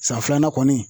San filanan kɔni